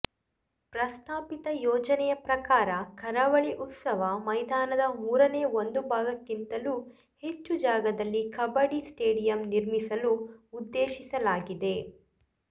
ಪ್ರಸ್ತಾಪಿತ ಯೋಜನೆ ಪ್ರಕಾರ ಕರಾವಳಿ ಉತ್ಸವ ಮೈದಾನದ ಮೂರನೇ ಒಂದು ಭಾಗಕ್ಕಿಂತಲೂ ಹೆಚ್ಚು ಜಾಗದಲ್ಲಿ ಕಬಡ್ಡಿ ಸ್ಟೇಡಿಯಂ ನಿರ್ಮಿಸಲು ಉದ್ದೇಶಿಸಲಾಗಿದೆ